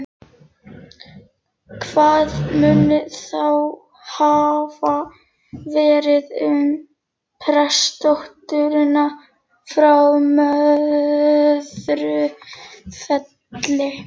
Hvað mun þá hafa verið um prestsdótturina frá Möðrufelli?